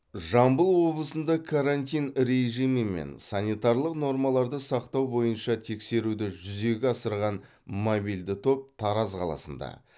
жамбыл облысында карантин режимі мен санитарлық нормаларды сақтау бойынша тексеруді жүзеге асырған мобильді топ тараз қаласында